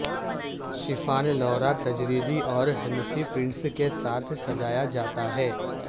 شفان لورا تجریدی اور ہندسی پرنٹس کے ساتھ سجایا جاتا ہے